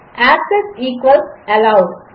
access equals allowed